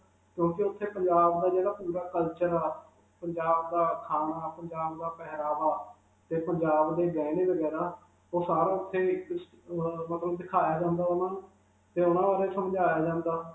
ਕਿਉਂਕਿ ਉਥੇ ਪੰਜਾਬ ਦਾ ਜਿਹੜਾ ਪੂਰਾ culture ਹੈ, ਪੰਜਾਬ ਦਾ ਖਾਨਾ, ਪੰਜਾਬ ਦਾ ਪਹਿਰਾਵਾ 'ਤੇ ਪੰਜਾਬ ਦੇ ਗਹਿਣੇ-ਵਗੈਰਾ. ਉਹ ਸਾਰਾ ਉਥੇ ਅਅ ਅਅ ਮਤਲਬ ਦਿਖਾਇਆ ਜਾਂਦਾ ਉਨ੍ਹਾਂ ਨੂੰ 'ਤੇ ਉਨ੍ਹਾਂ ਬਾਰੇ ਸਮਝਾਇਆ ਜਾਂਦਾ.